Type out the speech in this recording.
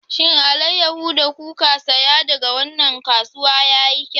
Shin alayyahu da kuka saya daga wannan kasuwa yayi kyau?